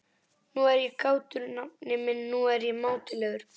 Nú er ég kátur, nafni minn, nú er ég mátulegur.